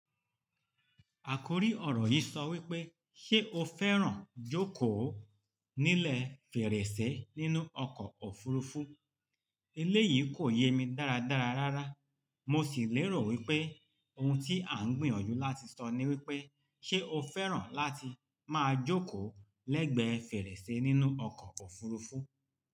Àkórí ọ̀rọ̀ yìí sọ wípé, "Ṣé o fẹ́ràn jókòó nílẹ̀ fèrèsé nínú ọkọ̀ òfurufú?" Eléyìí kò yé mi dáradára rárá, mo sì lérò wípé ohun tí à ń gbìyànjú láti sọ ni wípé, "Ṣé o fẹ́ràn láti máa jókòó lẹ́gbẹ́ fèrèsé nínú ọkọ̀ òfuurufú?"